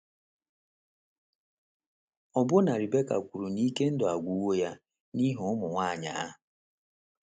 Ọbụna Rebeka kwuru na ike ndụ agwụwo ya n’ihi ụmụ nwanyị ahụ.